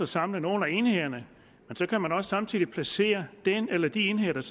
samle nogle af enhederne men så kan man samtidig også placere den eller de enheder der